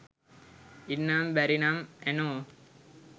ඉන්නම බැරි නම් ඇනෝ